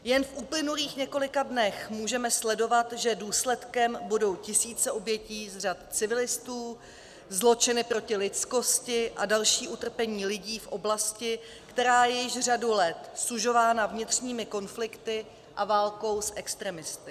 Jen v uplynulých několika dnech můžeme sledovat, že důsledkem budou tisíce obětí z řad civilistů, zločiny proti lidskosti a další utrpení lidí v oblasti, která je již řadu let sužována vnitřními konflikty a válkou s extremisty.